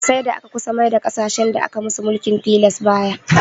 Sai da aka kusa maida ƙasashen da aka musu mulkin tilas bayi